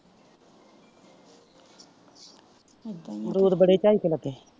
ਦੂਰ ਬੜੀ ਚਲਚਲੁਕੇ।